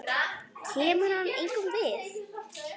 Kemur hann engum við?